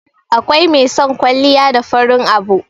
akwai mai son kwalliya da farin abu